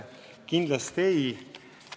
Kindlasti on!